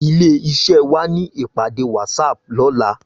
Ilé iṣè wá ni ipàdé wàtsáp lòlá